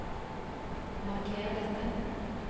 Marker dette